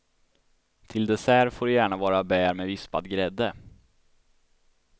Till dessert får det gärna vara bär med vispad grädde.